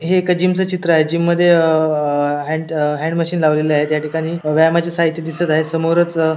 हे एका जिम च चित्र आहे जिम मध्ये अअ आ हँड हँड मशीन लावलेले आहेत याठिकाणी व्यायामाचे साहित्य दिसत आहे. समोरच --